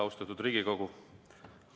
Austatud Riigikogu!